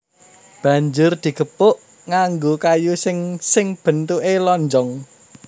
Banjur digepuk nganggo kayu sing sing bentuké lonjong